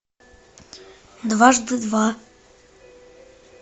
дважды два